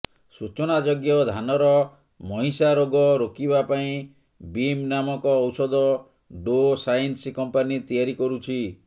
ସୂଚନାଯୋଗ୍ୟ ଧାନର ମହିଷା ରୋଗ ରୋକିବା ପାଇଁ ବିମ୍ ନାମକ ଔଷଧ ଡୋ ସାଇନ୍ସ କମ୍ପାନୀ ତିଆରି କରୁଛି